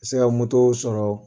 se ka sɔrɔ.